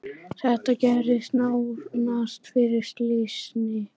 Þetta gerðist nánast fyrir slysni.